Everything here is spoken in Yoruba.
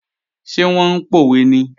Ṣé wọ́n ń pòwe ni?